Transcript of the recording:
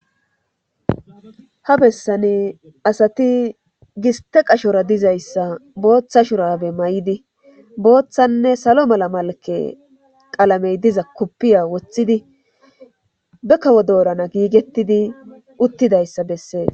ha bessani asati giste qashora dizayssa booththa shurabe may7idi booththanne salo mala malake qalamey diza kuppiya woththidi be kawo doorana giigettidi uttidayssa bessee